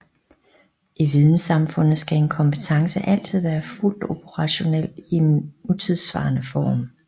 I videnssamfundet skal en kompetence altid være fuldt operationel i en nutidssvarende form